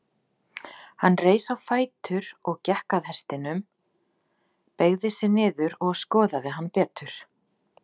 Hann reis á fætur og gekk að hestinum, beygði sig niður og skoðaði hann betur.